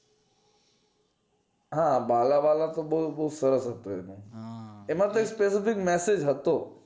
હા બાલા બાલા તો બોવ સરસ હતું એમાં કંઈક story નું કંઈક message હતો